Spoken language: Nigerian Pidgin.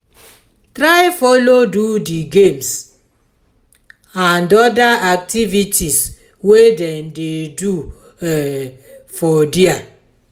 try follow do di games and other activities wey dem do um for there